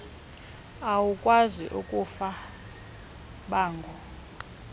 awukwazi kufaka bango